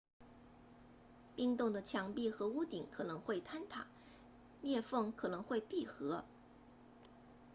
冰洞的墙壁和屋顶可能会坍塌裂缝可能会闭合